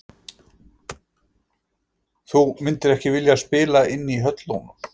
Þú myndir ekki vilja spila inn í höllunum?